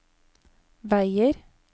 veier